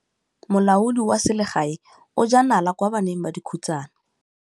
Molaodi wa selegae o jaa nala kwa baneng ba dikhutsana.